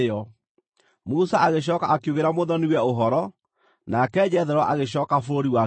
Musa agĩcooka akiugĩra mũthoni-we ũhoro, nake Jethero agĩcooka bũrũri wake mwene.